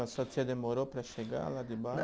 A sua tia demorou para chegar lá de